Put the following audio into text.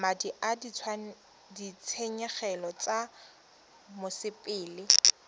madi a ditshenyegelo tsa mosepele